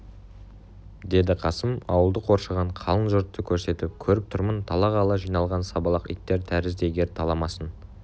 деді қасым ауылды қоршаған қалың жұртты көрсетіп көріп тұрмын талағалы жиналған сабалақ иттер тәрізді егер таламасын